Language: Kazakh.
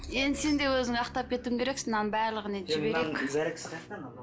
енді сен де өзіңді ақтап кетуің керексің мынаның барлығын енді жіберейік